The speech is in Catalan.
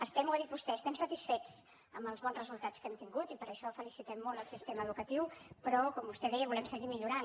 estem ho ha dit vostè satisfets amb els bons resultats que hem tingut i per això felicitem molt el sistema educatiu però com vostè deia volem seguir millorant